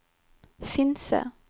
Finse